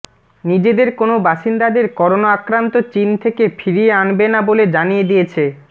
নিজেদের কোনও বাসিন্দাদের করোনা আক্রান্ত চিন থেকে ফিরিয়ে আনবে না বলে জানিয়ে দিয়েছে